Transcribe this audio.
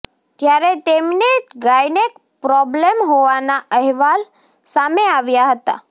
ત્યારે તેમને gynaec problem હોવાના અહેવાલ સામે આવ્યા હતા